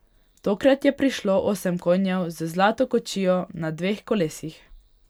Tokrat je prišlo osem konjev z zlato kočijo na dveh kolesih.